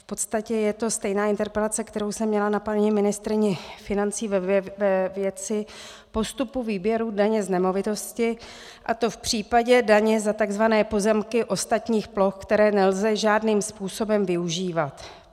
V podstatě je to stejná interpelace, kterou jsem měla na paní ministryni financí ve věci postupu výběru daně z nemovitosti, a to v případě daně za tzv. pozemky ostatních ploch, které nelze žádným způsobem využívat.